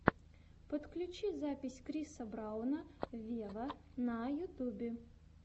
подключи запись криса брауна вево на ютубе